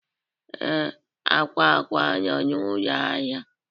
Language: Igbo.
Ee, akwa akwa nọ na ụlọ ahịa